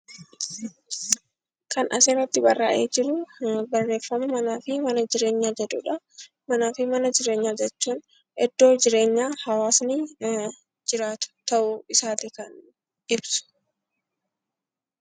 Kan asirratti barraa'ee jiruu barreeffama manaa fi mana jireenyaa jedhudha. Manaa fi mana jireenyaa jechuun iddoo jireenyaa hawaasni jiraatu ta'uu isaati kan ibsu.